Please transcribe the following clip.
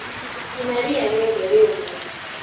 Cina ria riothe rĩũmũ..